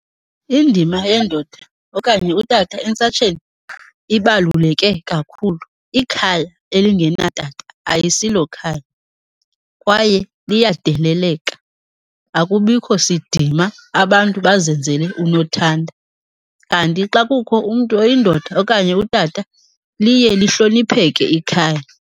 Indima yendoda okanye utata entsatsheni ibaluleke kakhulu. Ikhaya elingenatata ayisilokhaya kwaye liyadeleleka, akubikho sidima, abantu bazenzele unothanda. Kanti xa kukho umntu oyindoda okanye utata liye lihlonipheke ikhaya.